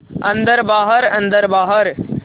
अन्दर बाहर अन्दर बाहर